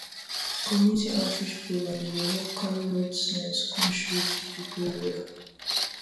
community outreach programs dey help carry health sense come straight come straight to people area